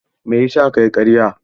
Mai yasa kayi ƙarya?